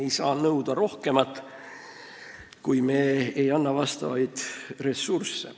Me ei saa nõuda rohkemat, kui me ei anna vastavaid ressursse.